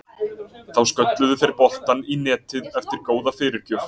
Þá skölluðu þeir boltann í netið eftir góða fyrirgjöf.